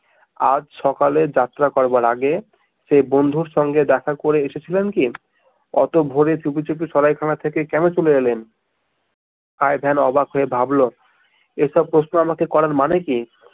আজ সকালে যাত্রা করবার আগে সেই বন্ধুর সঙ্গে দেখা করে এসেছিলেন কি? অত ভোরে চুপিচুপি সরাইখানা থেকে কেনো চলে এলেন? আই ভেন অবাক হয়ে ভাবল এসব প্রশ্ন আমাকে করার মানে কি?